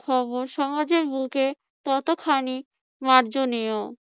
খবর সমাজের বুকে কতখানি মার্জনীয়?